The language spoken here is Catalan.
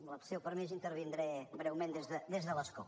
amb el seu permís intervindré breument des de l’escó